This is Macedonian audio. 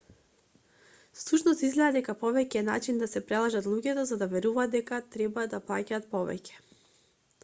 всушност изгледа дека повеќе е начин да се прелажат луѓето за да веруваат дека треба да плаќаат повеќе